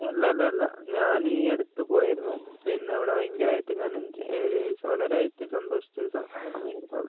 അല്ലല്ല ഞാൻ ഈയടുത്തു പോയിരുന്നു അവിടെ ഞാൻ ഭയങ്കരയിട്ടു എൻജോയ് വളരെ ആയിട്ടു സന്തോഷിച്ചു